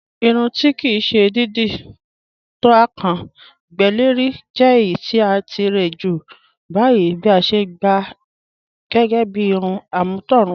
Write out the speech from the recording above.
Ìrùn tí kí sè dídí to à kán gbẹ́ lẹ̀rì jẹ̀ ẹ̀yì ti à tíre jù báyìí bí à sè gbá à gẹ́gẹ́ bí ìrùn am̀ọ̀tọ̀rùnwà